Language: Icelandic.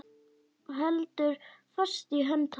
Heldur fast í hönd hans.